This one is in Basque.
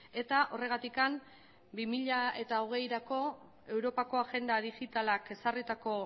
eta horregatik bi mila hogeirako europako agenda digitalak ezarritako